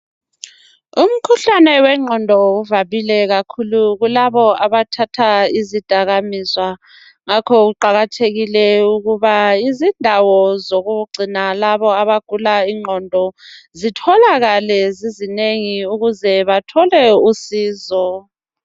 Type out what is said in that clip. Umkhuhlane wengqondo uvamile kakhulu kulabo abathatha izidakamizwa ngakho kuqakathekile ukuba izindawo zokugcina labo abagula ingqondo zitholakale zizinengi ukuze bathole uncedo.